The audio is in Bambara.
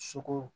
Sogo